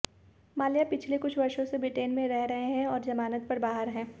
माल्या पिछले कुछ वर्षों से ब्रिटेन में रह रहे हैं और जमानत पर बाहर हैं